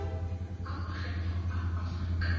a makgetho a aforika borwa